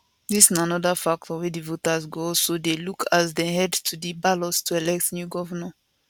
dis na anoda factor wey di voters go also dey look as dem head to di ballot to elect new govnor